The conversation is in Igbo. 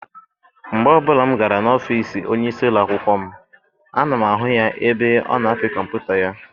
Mgbe ọbụla m gara n'ọfịịsi onyeisi ụlọakwụkwọ m, ana m ahụ ya ebe ọ na-apị kọmputa ya.